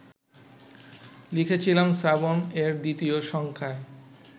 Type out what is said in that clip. লিখেছিলাম শ্রাবণ-এর দ্বিতীয় সংখ্যায়